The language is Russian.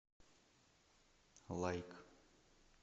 лайк